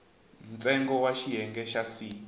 ntsengo wa xiyenge xa c